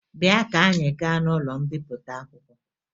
Bịa ka anyị gaa n'ụlọ mbipụta akwụkwọ